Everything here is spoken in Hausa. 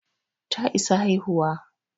Ta isa haihuwa